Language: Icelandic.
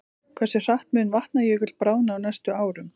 Hversu hratt mun Vatnajökull bráðna á næstu árum?